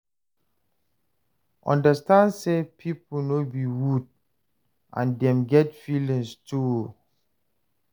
Understand sey pipo no be wood and dem get feelings too